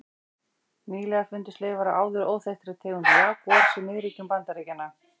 Nýlega fundust leifar af áður óþekktri tegund jagúars í miðríkjum Bandaríkjanna.